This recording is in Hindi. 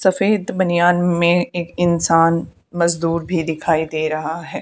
सफेद बनियान में एक इंसान मजदूर भी दिखाई दे रहा है।